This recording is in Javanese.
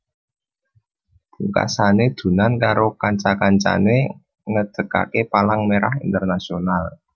Pungkasane Dunant karo kanca kancane ngedekake Palang Merah Internasional